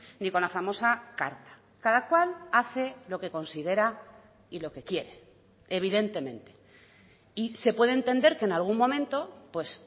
ni con la famosa carta cada cual hace lo que considera y lo que quiere evidentemente y se puede entender que en algún momento pues